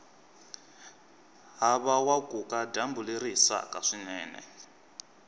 havawakuka dyambu leri hisaku swinene